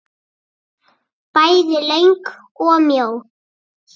Bæði löng og mjó.